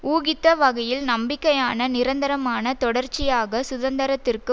ஊகித்த வகையில் நம்பிக்கையான நிரந்தரமான தொடர்ச்சியாக சுதந்திரத்திற்கு